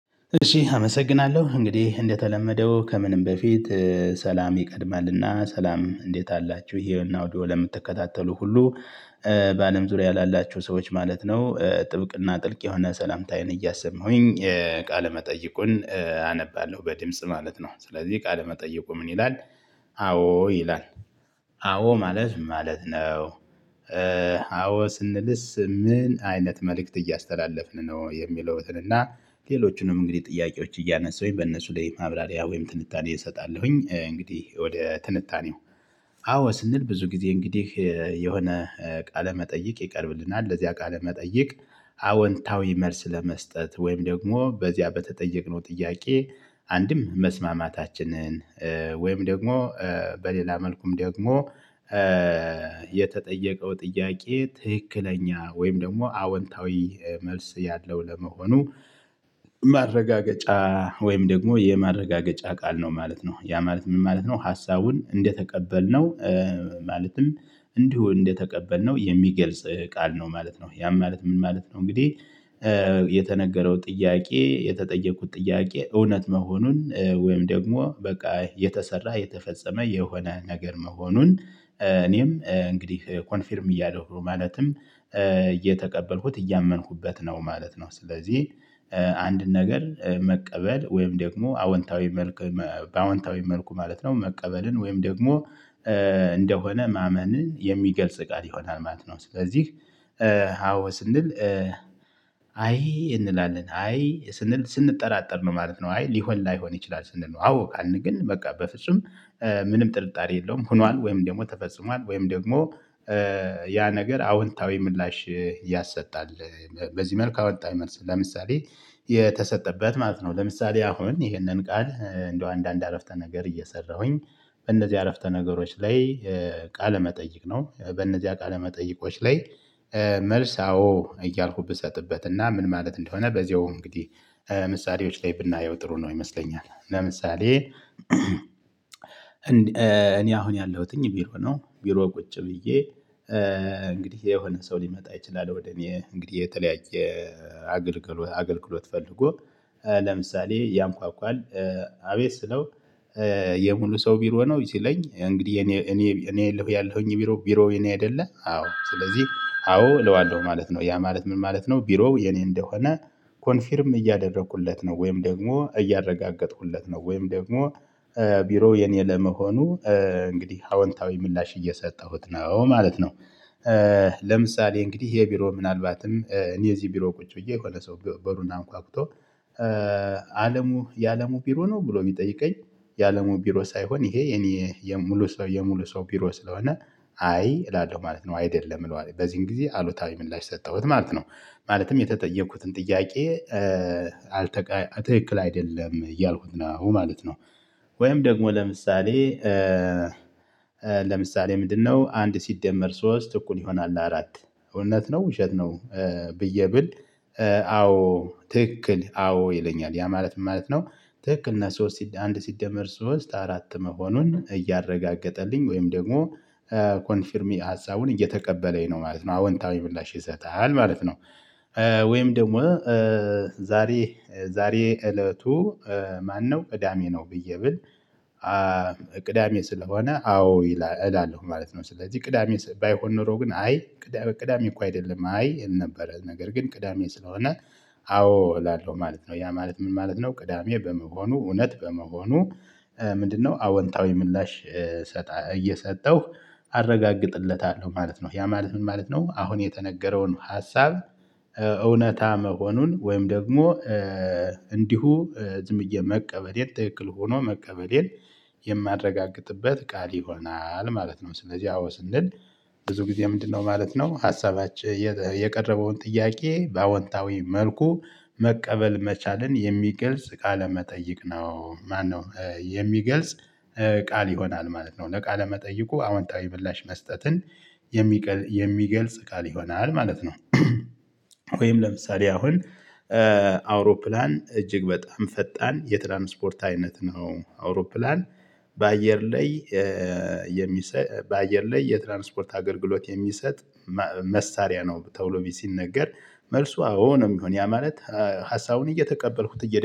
እሺ አመሰግናለሁ እንግዲህ እንደተለመደው ከምንም በፊት ሰላም ይቀድማልና ሰላም እንዴት አላችሁ ይሄንን አውዲዮ ለምትከታተሉ ሁሉ በአለም ዙሪያ ላላችሁ ሰዎች ማለት ነው ጥብቅና ጥልቅ የሆነ ሰላምታዬን እያሰማሁኝ ቃለመጠይቁን አነባለሁ በድምጽ ማለት ነው። ስለዚህ ቃለመጠይቁ ምን ይላል "አዎ" ይላል። አዎ ማለት ማለት ነው? አዎ ስንልስ ምን አይነት መልእክት እያስተላለፍን ነው? የሚሉትን እና ሌሎቹንም እንግዲህ ጥያቄዎች እያነሳሁኝ በእነሱ ላይ ማብራሪያ ወይም ትንታኔ እሰጣለሁኝ። እንግዲህ ወደ ትንታኔው "አዎ" ስንል ብዙ ጊዜ እንግዲህ የሆነ ቃለ መጠይቅ ይቀርብልናል። ለዚያ ቃለ መጠይቅ አወንታዊ መልስ ለመስጠት ወይም ደግሞ በዚያ በተጠየቅነው ጥያቄ አንድም መስማማታችንን ወይም ደግሞ በሌላ መልኩም ደግሞ የተጠየቀው ጥያቄ ትክክለኛ ወይም ደግሞ አወንታዊ መልስ ያለው ለመሆኑ ማረጋገጫ ወይም ደግሞ የማረጋገጫ ቃል ነው ማለት ነው። ያ ማለት ምን ማለት ነው ሀሳቡን እንደተቀበልነው ማለትም እንዲሁ እንደተቀበልነው የሚገልጽ ቃል ነው ማለት ነው። ያም ማለት ምን ማለት ነው እንግዲህ የተነገ ጥያቄ የተጠየቅኩት ጥያቄ እውነት መሆኑን ወይም ደግሞ በቃ የተሰራ የተፈጸመ የሆነ ነገር መሆኑን እኔም እንግዲህ ኮንፊርም እያደረኩ ማለትም እየተቀበልኩት እያመንኩበት ነው ማለት ነው። ስለዚህ አንድን ነገር መቀበል ወይም ደግሞ አወንታዊ መልኩ በአወንታዊ መልኩ ማለት ነው መቀበልን ወይም ደግሞ እንደሆነ ማመንን የሚገልጽ ቃል ይሆናል ማለት ነው። ስለዚህ "አዎ" ስንል አይ እንላለን "አይ" ስንል ስንጠራጠር ነው ማለት ነው "አይ" ሊሆን ላይሆን ይችላል ስንል ነው። "አዎ" ካልን ግን በቃ በፍጹም ምንም ጥርጣሬ የለውም ሆኗል ወይም ደግሞ ተፈጽሟል ወይም ደግሞ ያ ነገር አዎንታዊ ምላሽ ያሰጣል በዚህ መልክ አወጣኝ መልስ ለምሳሌ የተሰጠበት ማለት ነው። ለምሳሌ አሁን ይሄንን ቃል እንደው አንዳንድ አረፍተ ነገር እየሰራሁኝ በእነዚህ አረፍተ ነገሮች ላይ ቃለ መጠይቅ ነው በእነዚያ ቃለ መጠይቆች ላይ መልስ አዎ እያልኩ ብሰጥበት እና ምን ማለት እንደሆነ በዚያው እንግዲህ ምሳሌዎች ላይ ብናየው ጥሩ ነው ይመስለኛል። ለምሳሌ እኔ አሁን ያለሁትኝ ቢሮ ነው። ቢሮ ቁጭ ብዬ እንግዲህ የሆነ ሰው ሊመጣ ይችላል ወደ እኔ እንግዲህ የተለያየ አገልግሎ አገልግሎት ፈልጎ ለምሳሌ ያንኳኳል አቤት ስለው የሙሉ ሰው ቢሮ ነው ሲለኝ እንግዲህ እኔ እኔ እኔ እለው ያለሁኝ ቢሮ ቢሮ የኔ አይደለ አዎ ስለዚህ አዎ እለዋለሁ ማለት ነው። ያ ማለት ምን ማለት ነው ቢሮው የኔ እንደሆነ ኮንፊርም እያደረኩለት ነው ወይም ደግሞ እያረጋገጥኩለት ነው ወይም ደግሞ ቢሮው የኔ ለመሆኑ እንግዲህ አወንታዊ ምላሽ እየሰጠሁት ነው ማለት ነው። ለምሳሌ እንግዲህ ይሄ ቢሮ ምናልባትም እኔ እዚህ ቢሮ ቁጭ ብዬ የሆነ ሰው በርን አንኳኩቶ "አለሙ የአለሙ ቢሮ ነው?" ብሎ ቢሚጠይቀኝ የአለሙ ቢሮ ሳይሆን ይሄ የኔ የሙሉ ሰው የሙሉ ሰው ቢሮ ስለሆነ "አይ" እላለሁ ማለት ነው አይደለም እለዋለሁ በዚህን ጊዜ አሉታዊ ምላሽ ሰጠሁት ማለት ነው። ማለትም የተጠየቅኩትን ጥያቄ አልተቀ ትክክል አይደለም እያልኩት ነው ማለት ነው። ወይም ደግሞ ለምሳሌ ለምሳሌ ምንድነው አንድ ሲደመር ሶስት እኩል ይሆናል አራት እውነት ነው ውሸት ነው ብዬ ብል አዎ ትክክል አዎ ይለኛል ያ ማለት ምን ማለት ነው ትክክል እና ሶስት አንድ ሲደመር ሶስት አራት መሆኑን እያረጋገጠልኝ ወይም ደግሞ ኮንፊርሚ ሀሳቡን እየተቀበለኝ ነው ማለት ነው አዎንታዊ ምላሽ ይሰጣል ማለት ነው። ወይም ደግሞ ዛሬ ዛሬ እለቱ ማነው ቅዳሜ ነው ብዬ ብል ስለሆነ አዎ ይላል እላለሁ ማለት ነው። ስለዚህ ቅዳሜ ባይሆን ኖሮ ግን አይ ቅዳ ቅዳሜ እኮ አይደለም አይ እል ነበረ፤ ነገር ግን ቅዳሜ ስለሆነ አዎ እላለሁ ማለት ነው። ያ ማለት ምን ማለት ነው ቅዳሜ በመሆኑ እውነት በመሆኑ ምንድነው አወንታዊ ምላሽ ሰጣ እየሰጠሁ አረጋግጥለታ ማለት ነው። ያ ማለት ምን ማለት ነው አሁን የተነገረውን ሀሳብ እውነታ መሆኑን ወይም ደግሞ እንዲሁ ዝምብዬ መቀበሌን ትክክል ሆኖ መቀበሌን የማረጋግጥበ ቃል ይሆናል ማለት ነው። ስለዚህ አዎ ስንል ብዙ ጊዜ ምንድነው ማለት ነው ሀሳባችን የቀረበውን ጥያቄ በአዎንታዊ መልኩ መቀበል መቻልን የሚገልጽ ቃለ መጠይቅ ነው ማነው የሚገልጽ ቃል ይሆናል ማለት ነው። ለቃለ መጠይቁ አዎንታዊ ምላሽ መስጠትን የሚቀ የሚገልጽ ቃል ይሆናል ማለት ነው፤ ወይም ለምሳሌ አሁን አውሮፕላን እጅግ በጣም ፈጣን የትራንስፖርት አይነት ነው። አውሮፕላን በአየር ላይ የሚሰ በአየር ላይ የትራንስፖርት አገልግሎት የሚሰጥ ማ መሳሪያ ነው ተብሎ ቢ ሲነገር መልሱ አዎ ነው የሚሆን። ያ ማለት ሀሳቡን እየተቀበልኩት እየደ